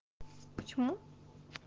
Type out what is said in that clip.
почему